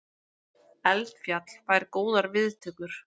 Eldfjall fær góðar viðtökur